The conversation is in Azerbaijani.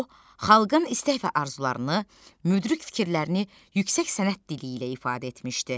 O, xalqın istək və arzularını, müdrik fikirlərini yüksək sənət dili ilə ifadə etmişdi.